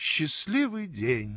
счастливый день